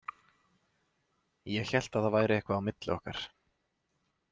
Ég hélt að það væri eitthvað á milli okkar